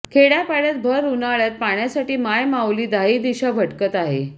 खेडयापाडयात भर उन्हाळयात पाण्यासाठी माय माऊली दाहीदिशा भटकत आहे